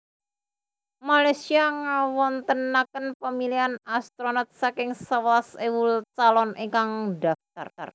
Malaysia ngawontenaken pamilihan astronot saking sewelas ewu calon ingkang ndhaftar